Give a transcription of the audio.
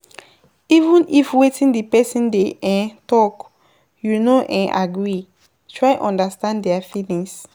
Even if wetin di person dey um talk you no um agree, try understand their feelings